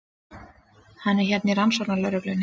Hann er hérna frá rannsóknarlögreglunni.